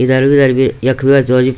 इधर-उधर भी यख भी --